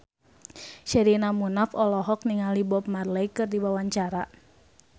Sherina Munaf olohok ningali Bob Marley keur diwawancara